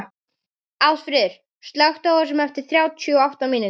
Ásfríður, slökktu á þessu eftir þrjátíu og átta mínútur.